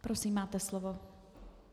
Prosím, máte slovo.